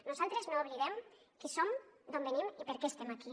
nosaltres no oblidem qui som d’on venim i per què estem aquí